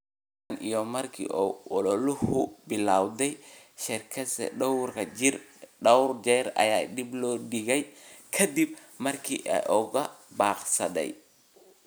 tan iyo markii uu ololuhu billowday, shirarkiisa dhowr jeer ayaa dib loo dhigay, kaddib markii uu ka baaqsaday.